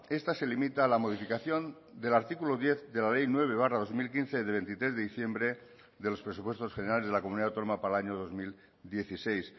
esta se limita a la modificación del artículo diez de la ley nueve barra dos mil quince de veintitrés de diciembre de los presupuestos generales de la comunidad autónoma para el año dos mil dieciséis